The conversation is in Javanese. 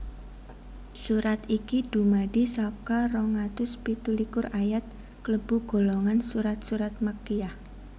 Surat iki dumadi saka rong atus pitu likur ayat klebu golongan surat surat Makkiyyah